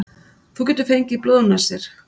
Þú getur fengið blóðnasir.